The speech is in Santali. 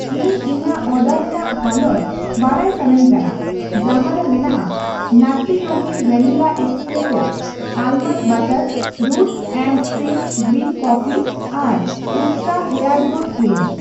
ᱤᱧ ᱤᱧᱟᱜ ᱚᱰᱟᱨ ᱨᱮᱱᱟᱜ ᱦᱟᱞᱚᱛ ᱵᱟᱰᱟᱭ ᱥᱟᱱᱟᱧ ᱠᱟᱱᱟ ᱡᱟᱦᱟᱸ ᱨᱮ ᱢᱮᱱᱟᱜᱼᱟ Nutty Yogi vanilla espresso almond butter, roots and stems green coffee ᱟᱨ ᱩᱥᱴᱨᱟ ᱦᱮᱭᱟᱨ ᱜᱨᱳᱛᱷ ᱠᱨᱤᱢ ᱾